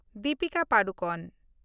Dipika Padukone